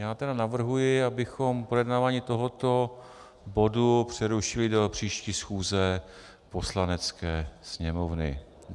Já tedy navrhuji, abychom projednávání tohoto bodu přerušili do příští schůze Poslanecké sněmovny.